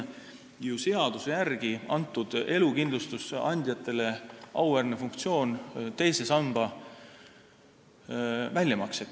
Seaduse järgi on meil antud elukindlustusandjatele auväärne funktsioon teha teise samba väljamakseid.